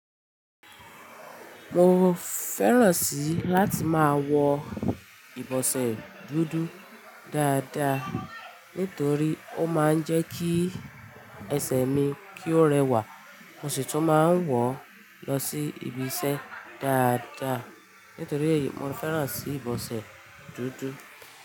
Mo fẹ́ràn sí láti máa wọ ìbọsẹ̀ dúdú dáadáa nítorí ó máa ń jẹ́ kí ẹsẹ̀ mi kí ó rẹwà. Mo sì tún máa ń wọ̀ lọ sí ibiṣẹ́ dáadáa nítorí mo fẹ́ràn sí ìbọsẹ̀ dúdú.